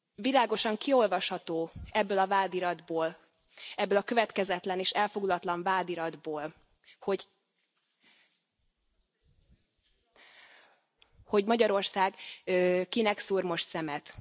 Világosan kiolvasható ebből a vádiratból, ebből a következetlen és elfogult vádiratból, hogy Magyarország kinek szúr most szemet.